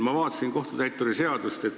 Ma vaatasin kohtutäituri seadust.